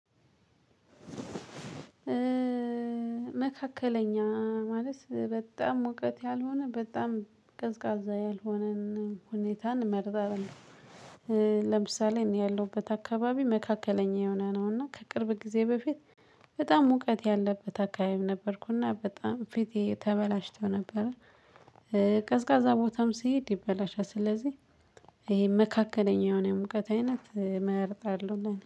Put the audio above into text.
መካከለኛ ማለት በጣም ሙቀት ያልሆነ በጣም ቀዝቃዛ ያልሆነን ሁኔታን እመርጣለሁ። ለምሳሌ እኔ ያለሁበት አካባቢ መካከለኛ የሆነ ነውና ከቅርብ ጊዜ በፊት በጣም ሙቀት ያለበት አካባቢም ነበርኩና በጣም ፊቴ ተበላሽቶ ነበር። ቀዝቃዛ ቦታም ሲሄድ ይበላሻል ስለዚህ ይሄ መካከለኛ የሆነ ሙቀት አይነት እመርጣለሁ እና